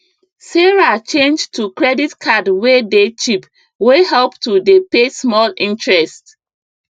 sarah change to credit card wey dey cheap wey help to dey pay small interest